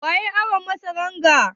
Waya yayi awon masaran ga?